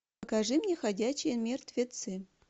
покажи мне ходячие мертвецы